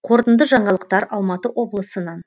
қорытынды жаңалықтар алматы облысынан